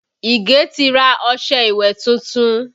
Ige ti ra ọṣẹ ìwẹ̀ tuntun